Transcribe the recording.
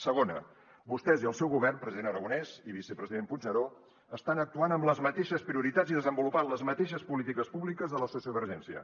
segona vostès i el seu govern president aragonès i vicepresident puigneró estan actuant amb les mateixes prioritats i desenvolupant les mateixes polítiques públiques de la sociovergència